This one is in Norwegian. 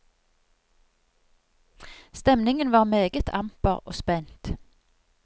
Stemningen var meget amper og spent.